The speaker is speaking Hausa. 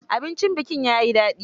Abincin bikin ya yi daɗi.